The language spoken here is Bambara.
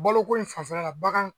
Balo ko in fanfɛla bagan